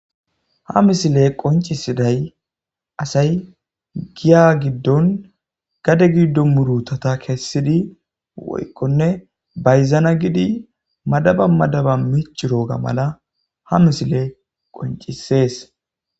ha misile qoncisiday asay giya giddon gade giddo murutata kessidi woykkone bayzana gidi madaba madaba miici rooga mala ha misile qoncisees